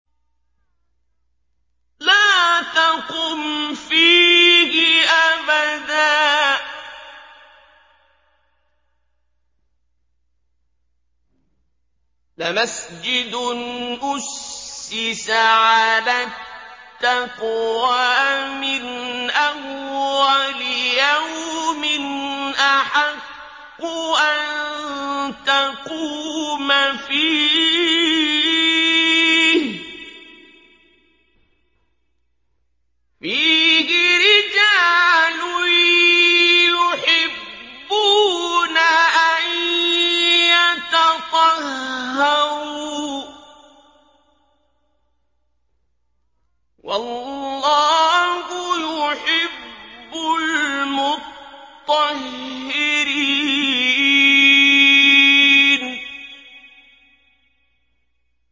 لَا تَقُمْ فِيهِ أَبَدًا ۚ لَّمَسْجِدٌ أُسِّسَ عَلَى التَّقْوَىٰ مِنْ أَوَّلِ يَوْمٍ أَحَقُّ أَن تَقُومَ فِيهِ ۚ فِيهِ رِجَالٌ يُحِبُّونَ أَن يَتَطَهَّرُوا ۚ وَاللَّهُ يُحِبُّ الْمُطَّهِّرِينَ